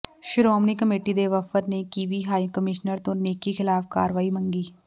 Shiromani committee ਦੇ ਵਫ਼ਦ ਨੇ ਕਿਵੀ ਹਾਈ ਕਮਿਸ਼ਨਰ ਤੋਂ ਨੇਕੀ ਖ਼ਿਲਾਫ਼ ਕਾਰਵਾਈ ਮੰਗੀ